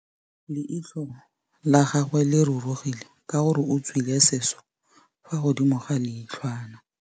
Leitlhô la gagwe le rurugile ka gore o tswile sisô fa godimo ga leitlhwana.